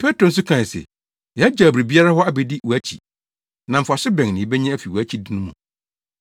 Petro nso kae se, “Yagyaw biribiara hɔ abedi wʼakyi; na mfaso bɛn na yebenya afi wʼakyidi no mu?”